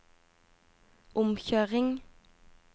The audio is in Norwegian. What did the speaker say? omkjøring